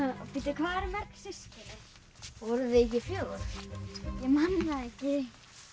hvað eru mörg systkini voru þau ekki fjögur ég man það ekki